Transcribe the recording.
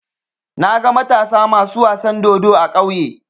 Naga Matasa masu wasan dodo a ƙauye.